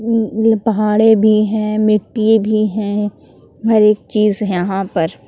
। पहाड़े भी है मिट्टी भी है हर एक चीज यहां पर ।